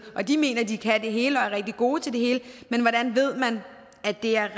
og de mener alle at de kan det hele og er rigtig gode til det hele men hvordan ved man at det er